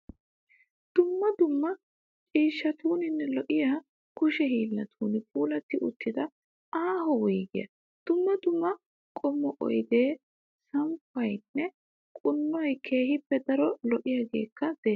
Dumma dumma ciishshatuninne lo'iyaa kushe hiillatun puulatti uttida aaho wuyigiyaa. Dumma dumma qommo oyidee, samppayinne quunuunayi keehippe daro lo'yaageekka des.